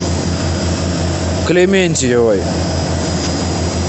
клементьевой